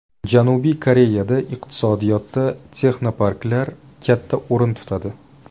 Janubiy Koreyada iqtisodiyotida texnoparklar katta o‘rin tutadi.